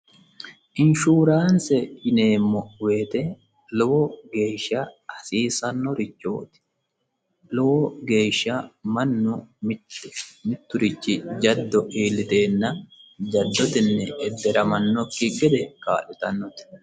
Inshuuraanse yineemmo woyte lowo lowo geeshsha hasiisannorichooti lowo geeshsha mannu mitturici jaddo iillitusiro jaddotenni edderamannokki gede kaa'litannote